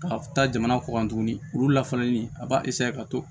Ka taa jamana kɔ kan tuguni olu lafalennen a b'a ka to